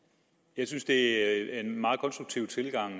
jeg synes det er en meget konstruktiv tilgang